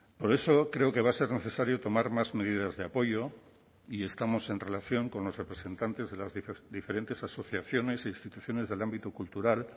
por eso creo que va a ser necesario tomar más medidas de apoyo y estamos en relación con los representantes de las diferentes asociaciones e instituciones del ámbito cultural